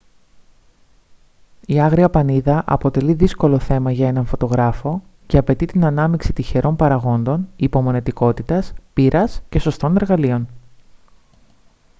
η άγρια πανίδα αποτελεί δύσκολο θέμα για έναν φωτογράφο και απαιτεί την ανάμειξη τυχερών παραγόντων υπομονετικότητας πείρας και σωστών εργαλείων